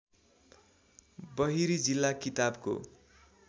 बहिरी जिल्ला किताबको